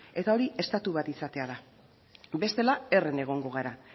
eta hori estatu bat izatea da bestela herren egongo gara